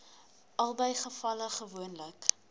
albei gevalle gewoonlik